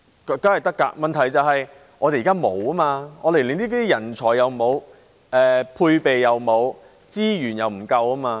當然可以，但問題是我們現在連這類人才也沒有，配備也沒有，資源也不足夠。